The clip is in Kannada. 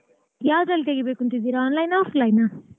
ಯಾವ್ದ್ರಲ್ ತೆಗೀಬೇಕು ಅಂತ ಇದಿರಾ online ಆ offline ಆ.